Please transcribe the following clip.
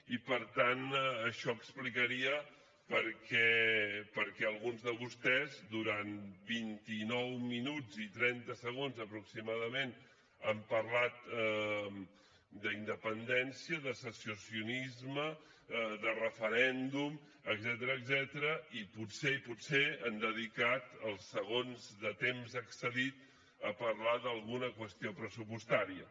i per tant això explicaria per què alguns de vostès durant vint i nou minuts i trenta segons aproximadament han parlat d’independència de secessionisme de referèndum etcètera i potser potser han dedicat els segons de temps excedit a parlar d’alguna qüestió pressupostària